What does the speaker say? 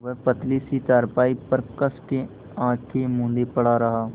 वह पतली सी चारपाई पर कस के आँखें मूँदे पड़ा रहा